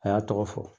A y'a tɔgɔ fɔ